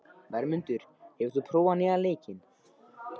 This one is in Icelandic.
Vermundur, hefur þú prófað nýja leikinn?